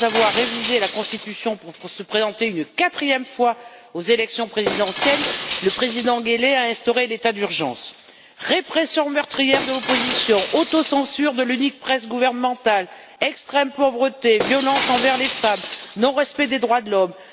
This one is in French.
Après avoir révisé la Constitution pour se présenter une quatrième fois aux élections présidentielles, le président Guelleh a instauré l'état d'urgence répression meurtrière de l'opposition, autocensure de l'unique presse gouvernementale, extrême pauvreté, violence envers les femmes, non respect des droits de l'homme.